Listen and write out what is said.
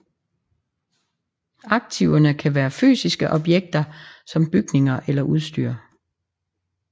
Aktiverne kan være fysiske objekter som bygninger eller udstyr